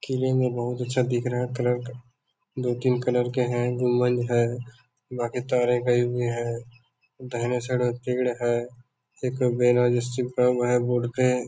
किले में बहुत अच्छा दिख रहा है कलर दो-तीन कलर के हैं गुम्बद है बाकी तारें गयी हुई है दहिने साइड में पेड़ है। एक बैनर जिसपे चिपकाया हुआ है बोर्ड पे ।